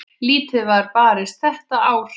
Lítið var barist þetta ár.